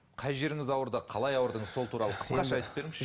қай жеріңіз ауырды қалай ауырдыңыз сол туралы қысқаша айтып беріңізші